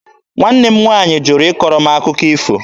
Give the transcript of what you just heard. Nwanne m nwaanyị jụrụ ịkọrọ m akụkọ ifo.